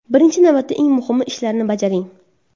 Birinchi navbatda eng muhim ishlarni bajaring.